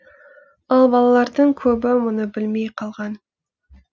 ал балалардың көбі мұны білмей қалған